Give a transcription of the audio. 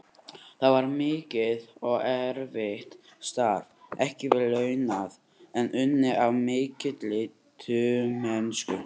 Það var mikið og erfitt starf, ekki vel launað, en unnið af mikilli trúmennsku.